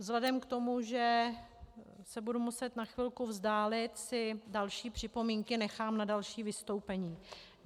Vzhledem k tomu, že se budu muset na chvilku vzdálit, si další připomínky nechám na další vystoupení.